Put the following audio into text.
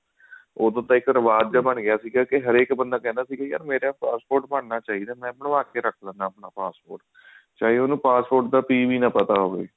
ਓਦੋਂ ਤਾਂ ਇੱਕ ਰਿਵਾਜ ਜਾ ਬਣ ਗਿਆ ਸੀ ਕਿਉਂਕਿ ਹਰ ਇੱਕ ਬੰਦਾ ਕਹਿੰਦਾ ਸੀ ਕੇ ਮੇਰਾ passport ਬਣਨਾ ਚਾਹੀਦਾ ਮੈਂ ਬਣਾ ਕੇ ਰੱਖ ਲੈਂਦਾ passport ਚਾਹੇ ਉਹਨੂੰ passport ਦਾ p ਵੀ ਨਾ ਪਤਾ ਹੋਵੇ